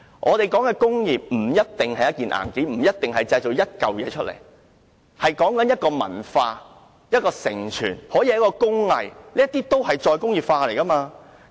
我認為工業不一定是硬件，不一定要製造出實物；工業可以是一種文化和承傳，也可以是一種工藝。